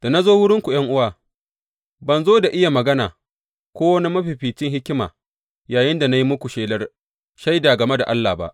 Da na zo wurinku ’yan’uwa, ban zo da iya magana ko wani mafificin hikima yayinda na yi muku shelar shaida game da Allah ba.